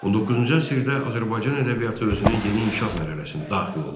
19-cu əsrdə Azərbaycan ədəbiyyatı özünün yeni inkişaf mərhələsinə daxil oldu.